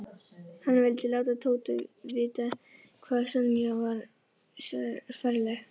Hann vildi láta Tóta vita hvað Sonja var ferleg.